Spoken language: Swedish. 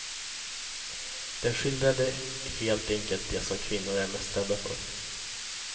Den skildrade helt enkelt det som kvinnor är mest rädda för.